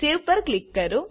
સેવ પર ક્લિક કરો